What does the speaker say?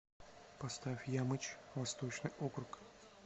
поставь ямыч восточный округ